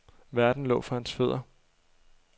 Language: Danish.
Verden lå for hans fødder.